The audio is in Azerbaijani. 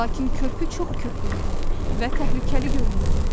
Lakin körpü çox köhnə idi və təhlükəli görünürdü.